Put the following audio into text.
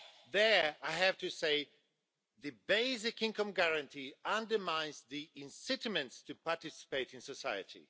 There, I have to say the basic income guarantee undermines the incentive to participate in society.